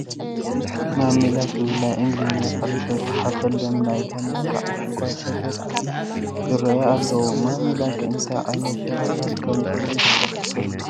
ማሚ ላክ ዝብል ናይ ኢንግሊዝኛ ቃል ዝተፃሕፈሎም ናይ ታኒካ ዕሹጋት ሸቐጣት ይርአዩ ኣለዉ፡፡ ማሚ ላክ እንታይ ዓይነት ሸቐጣት ከምዝኾነ ትፈልጡ ዶ?